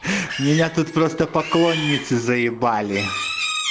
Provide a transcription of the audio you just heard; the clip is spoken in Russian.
меня тут просто поклонницы з